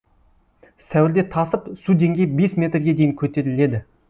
сәуірде тасып су деңгейі бес метрге дейін көтеріледі